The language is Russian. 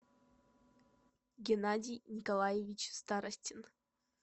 геннадий николаевич старостин